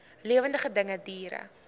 lewende dinge diere